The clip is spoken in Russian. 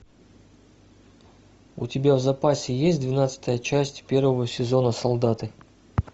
у тебя в запасе есть двенадцатая часть первого сезона солдаты